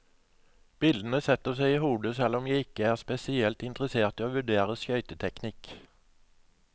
Bildene setter seg i hodet, selv om jeg ikke er spesielt interessert i å vurdere skøyteteknikk.